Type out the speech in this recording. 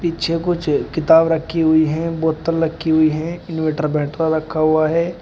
पीछे कुछ किताब रखी हुई हैं बोतल रखी हुई है इनवर्टर बैटरा रखा हुआ है।